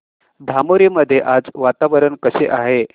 धामोरी मध्ये आज वातावरण कसे आहे